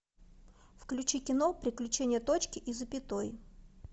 включи кино приключение точки и запятой